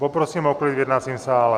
Poprosím o klid v jednacím sále.